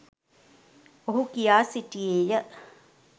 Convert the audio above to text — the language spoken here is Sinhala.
ඔහු කියා සිටියේය